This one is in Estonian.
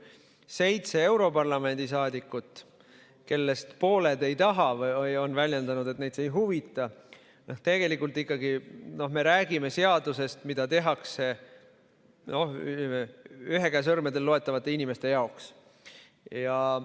Seitse europarlamendi saadikut, kellest pooled ei taha või on väljendanud, et neid see ei huvita – tegelikult me ikkagi räägime seadusest, mida tehakse ühe käe sõrmedel loetavate inimeste jaoks.